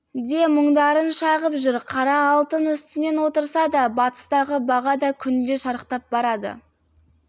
де мұңдарын шағып жүр қара алтын үстінде отырса да батыстағы баға да күнде шарықтап барады